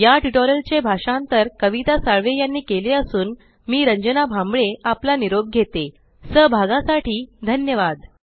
या ट्यूटोरियल चे भाषांतर कविता साळवे यानी केले असून मी रंजना भांबळे आपला निरोप घेतेसहभागासाठी धन्यवाद